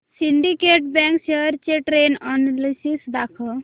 Syndicate Bank shares चे trend analysis दाखव